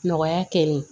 Nɔgɔya kɛli